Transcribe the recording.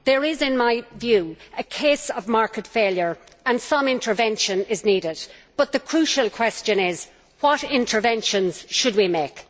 there is, in my view, a case of market failure and some intervention is needed, but the crucial question is to know what interventions we should make.